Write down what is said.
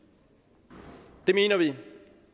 mener vi